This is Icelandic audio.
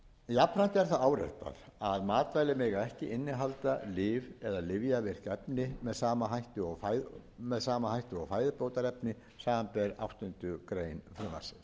jafnframt er það áréttað að matvæli mega ekki innihalda lyf eða lyfjavirk efni með sama hætti og fæðubótarefni samanber áttundu greinar frumvarpsins gert er ráð